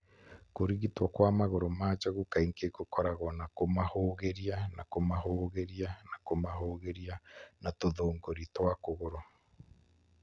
Kũrigitwo kwa magũrũ ma njogu kaingĩ kũkoragwo na kũmahũũgĩria na kũmahũũgĩria na kũmahũũgĩria na tũthũngũri twa kũgũrũ.